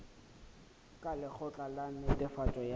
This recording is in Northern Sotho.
ka lekgotla la netefatšo ya